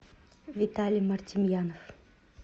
виталий мартемьянов